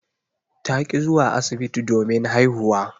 Ta ki zuwa asibiti domin haihuwa.